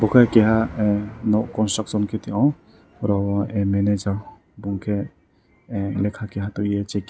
uke keha ahh nok construction ke tio a managa bumung ke lekha kaia tuie checking.